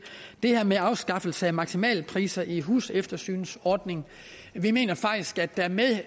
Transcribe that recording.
det her med afskaffelse af maksimalpriser i huseftersynsordningen vi mener faktisk at der med